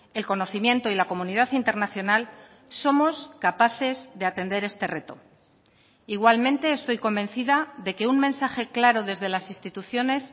el conocimiento y la comunidad internacional somos capaces de atender este reto igualmente estoy convencida de que un mensaje claro desde las instituciones